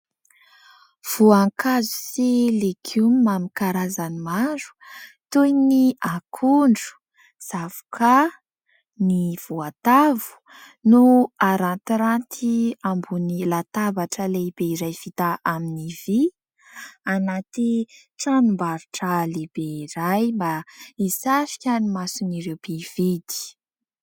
Voankazo sy legioma amin'ny karazany maro toy ny akondro, zavokà, ny voatavo no arantiranty ambony latabatra lehibe vita iray amin'ny vỳ, anaty tranombarotra lehibe iray mba isarika ny mason'ireo mpividy.